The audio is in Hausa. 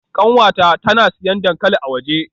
Kanwata tana siyan dankali a waje.